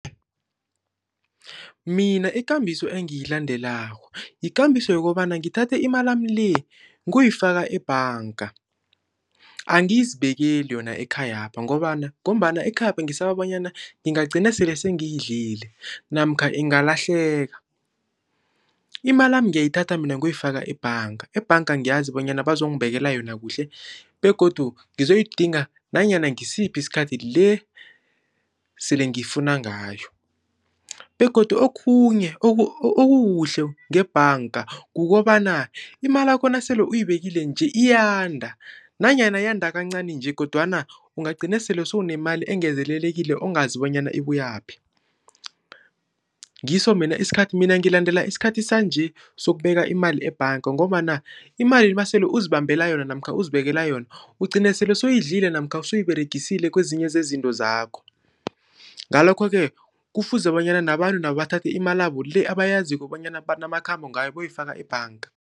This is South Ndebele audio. Mina ikambiso engiyilandelako, yikambiso yokobana ngithathe imalami le kuyifaka ebhanga. Angizibekeli yona ekhayapha ngombana ekhayapha ngisaba bonyana ngingagcina sele sengiyidlile, namkha ingalahleka. Imalami ngiyayithatha mina ngiyoyifaka ebhanga. Ebhanga ngiyazi bonyana bazongibekela yona kuhle begodu ngizoyidinga nanyana ngisiphi isikhathi esele ngiyifuna ngayo, begodu okhunye okukuhle ngebhanga kukobana imalakho nasele uyibekile nje iyanda nanyana yinyanda kancani nje kodwana ungagcina sele sewunemali engezelelekileko ongazi bonyana ibuyaphi. Ngiso mina isikhathi, mina ngilandela isikhathi sanje sokubeka imali ebhanga ngombana imali nasele uzibambela yona namkha uzibekele yona ugcine sele sewuyidlile namkha sewuyiberegisile kwezinye zezinto zakho. Ngalokho-ke kufuze bonyana nabantu nabo bathathe imalabo le abayaziko bonyana banamakhambo ngayo bayoyifaka ebhanga.